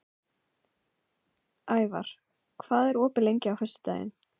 Ævar, hvað er opið lengi á föstudaginn?